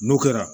N'o kɛra